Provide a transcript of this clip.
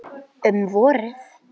Um vorið